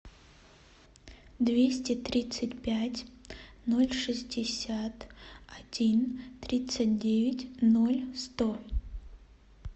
двести тридцать пять ноль шестьдесят один тридцать девять ноль сто